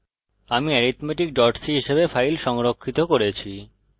আমি arithmeticc হিসাবে file সংরক্ষিত করেছি